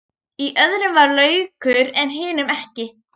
Í öðrum var laukur en hinum ekki.